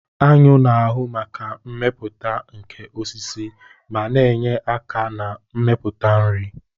Aṅụ na-ahu maka mmepụta nke osisi ma na-enye aka na mmepụta nri.